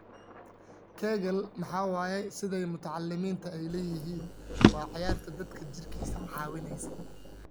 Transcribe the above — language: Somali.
Kegel maxay waye sidhay mutaalimta aay leyihin waa ciyar dadka jiirkisa cawineysa.